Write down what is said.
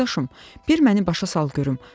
Qardaşım, bir məni başa sal görüm.